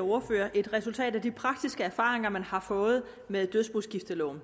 ordførere et resultat af de praktiske erfaringer man har fået med dødsboskifteloven